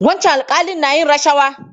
Wancan alƙali na yin rashawa.